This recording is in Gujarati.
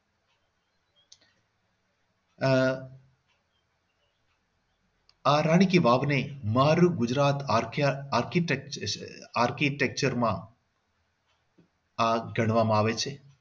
આહ આ રાણી કી વાવને મારું ગુજરાત અત્યારે architect architecture માં આ ગણવામાં આવે છે.